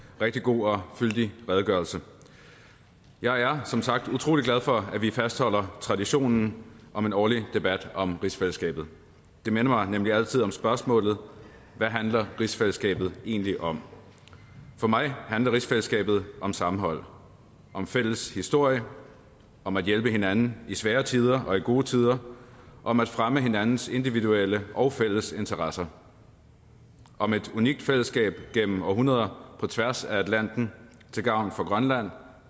rigtig god og fyldig redegørelse jeg er som sagt utrolig glad for at vi fastholder traditionen om en årlig debat om rigsfællesskabet det minder mig nemlig altid om spørgsmålet hvad handler rigsfællesskabet egentlig om for mig handler rigsfællesskabet om sammenhold om fælles historie om at hjælpe hinanden i svære tider og i gode tider om at fremme hinandens individuelle og fælles interesser om et unikt fællesskab gennem århundreder på tværs af atlanten til gavn for grønland